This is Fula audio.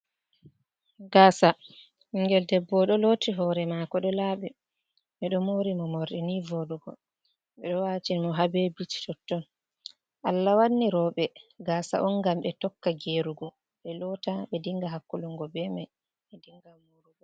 Gasa ɓingel debbo ɗo loti hore mako ɗo laɓi. Ɓedo mori mo morɗi ni vodugo. Ɓedo watini mo har be bits totton. Allah wanni roɓe gaasa on ngam ɓe tokka gerugo(vo'ungo). Ɓe lota ɓe dinga hakkulungo be mai, ɓe dinga murugo.